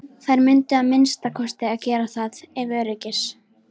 Þær mundu að minnsta kosti gera það ef öryggis